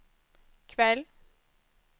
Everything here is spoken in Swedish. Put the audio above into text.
kväll